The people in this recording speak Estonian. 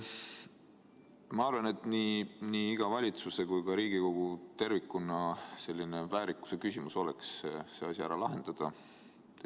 Ma arvan, et nii valitsuse kui ka tervikuna Riigikogu väärikuse küsimus oleks see asi ära lahendada.